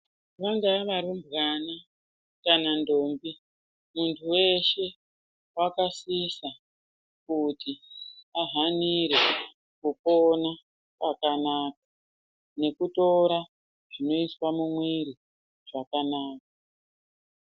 Vangava varumbwana kana ndombi muntu weshe wakasisa kuti ahanire Kupona kwakanaka nekutora zvinoiswa mumwiri zvakanaka.